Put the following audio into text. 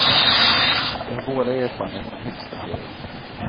De har båda erfarenhet från högsta serien.